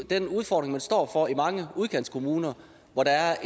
den udfordring man står over for i mange udkantskommuner hvor der er